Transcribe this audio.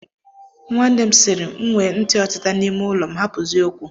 Nwanne m sịrị, M nwee ntị ọtịta n'ime ụlọ m, hapụzie okwu